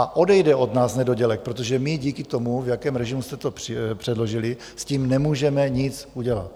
A odejde od nás nedodělek, protože my díky tomu, v jakém režimu jste to předložili, s tím nemůžeme nic udělat.